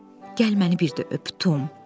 Gəl məni bir də öp, Tom.